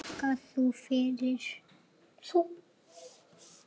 Takka þér fyrir